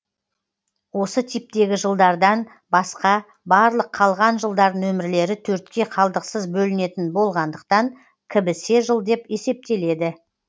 осы типтегі жылдардан басқа барлық қалған жылдар нөмірлері төртке қалдықсыз бөлінетін болғандықтан кібісе жыл деп есептеледі